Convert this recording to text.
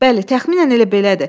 Bəli, təxminən elə belədir.